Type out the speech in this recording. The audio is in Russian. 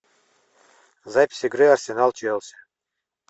запись игры арсенал челси